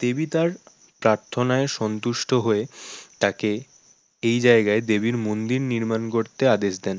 দেবী তার প্রার্থনায় সন্তুষ্ট হয়ে তাকে এই জায়গায় দেবীর মন্দির নির্মাণ করতে আদেশ দেন